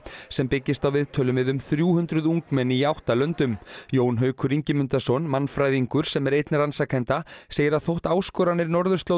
sem byggist á viðtölum við um þrjú hundruð ungmenni í átta löndum Jón Haukur Ingimundarson mannfræðingur sem er einn rannsakenda segir að þótt áskoranir